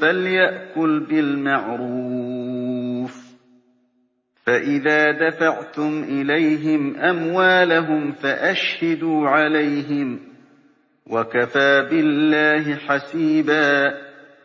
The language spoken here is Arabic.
فَلْيَأْكُلْ بِالْمَعْرُوفِ ۚ فَإِذَا دَفَعْتُمْ إِلَيْهِمْ أَمْوَالَهُمْ فَأَشْهِدُوا عَلَيْهِمْ ۚ وَكَفَىٰ بِاللَّهِ حَسِيبًا